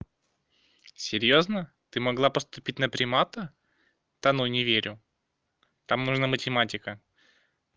серьёзно ты могла поступить на примата да ну не верю там нужна математика